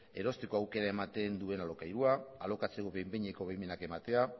erosteko aukera ematen duen alokairua alokatzeko behin behineko baimenak ematea